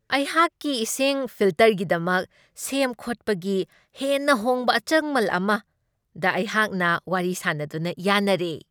ꯑꯩꯍꯥꯛꯀꯤ ꯏꯁꯤꯡ ꯐꯤꯜꯇꯔꯒꯤꯗꯃꯛ ꯁꯦꯝ ꯈꯣꯠꯄꯒꯤ ꯍꯦꯟꯅ ꯍꯣꯡꯕ ꯑꯆꯪꯃꯜ ꯑꯃꯗ ꯑꯩꯍꯥꯛꯅ ꯋꯥꯔꯤ ꯁꯥꯅꯗꯨꯅ ꯌꯥꯅꯔꯦ ꯫